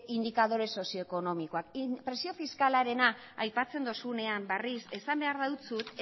indikadore sozioekonomikoak presio fiskalarena aipatzen dozunean berriz esan behar dautzut